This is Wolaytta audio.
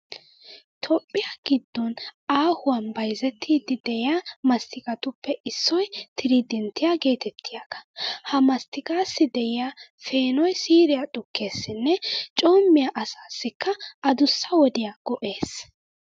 Toophphiya giddon aahuwan bayzettiiddi de'iya masttiqatuppe issoy tiriidenttiya geetettiyagaa. Ha masttiqaassi de'iya peenoy siiriya xukkeesinne coommiya asassikka adussa wodiya go"ees.